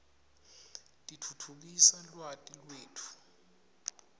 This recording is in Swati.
titfutfukisa lwati letfu